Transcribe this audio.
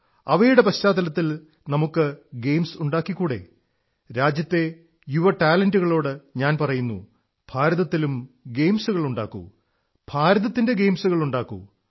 അവയുടെ പശ്ചാത്തലത്തിൽ നമുക്ക് ഗെയിംസ് ഉണ്ടാക്കിക്കൂടേ രാജ്യത്തെ യുവ ടാലന്റുകളോട് ഞാൻ പറയുന്നു ഭാരതത്തിലും ഗെയിംസുകളുണ്ടാക്കൂ ഭാരതത്തിന്റെ ഗെയിംസുകളുമുണ്ടാക്കൂ